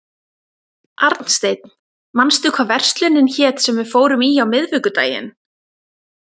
Arnsteinn, manstu hvað verslunin hét sem við fórum í á miðvikudaginn?